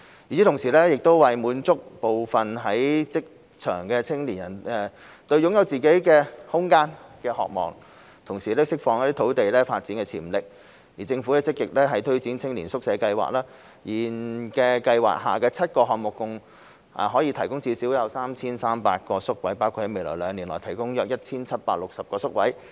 與此同時，為滿足部分在職青年對擁有自己空間的渴望，同時釋放土地發展潛力，政府積極推展青年宿舍計劃，現時計劃下的7個項目合共可提供至少 3,300 個宿位，包括在未來兩年內提供約 1,760 個宿位。